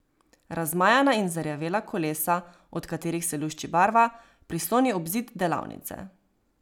Razmajana in zarjavela kolesa, od katerih se lušči barva, prisloni ob zid delavnice.